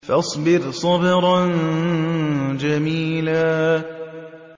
فَاصْبِرْ صَبْرًا جَمِيلًا